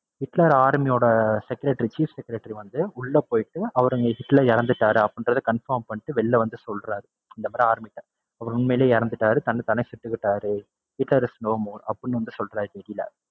Hitler army யோட secretary chief secretary வந்து உள்ள போயிட்டு அவரு அங்க ஹிட்லர் இறந்துட்டாரு அப்படின்றதை confirm பண்ணிட்டு வெளிய வந்து சொல்றாரு. அதுக்கப்பறம் army அவரு உண்மையிலயே இறந்துட்டாரு, தன்னை தானே சுட்டுக்கிட்டாரு ஹிட்லர் is no more அப்படின்னு வந்து சொல்றாரு வெளியிலே